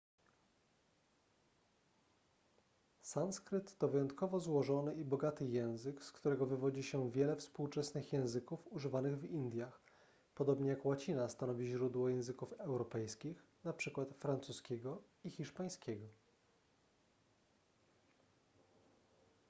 sanskryt to wyjątkowo złożony i bogaty język z którego wywodzi się wiele współczesnych języków używanych w indiach podobnie jak łacina stanowi źródło języków europejskich np francuskiego i hiszpańskiego